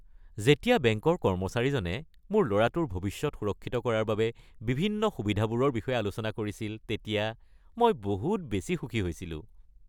যেতিয়া বেংকৰ কৰ্মচাৰীজনে মোৰ ল’ৰাটোৰ ভৱিষ্যত সুৰক্ষিত কৰাৰ বাবে বিভিন্ন সুবিধাবোৰৰ বিষয়ে আলোচনা কৰিছিল তেতিয়া মই বহুত বেছি সুখী হৈছিলোঁ।